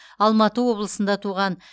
алматы облысында туған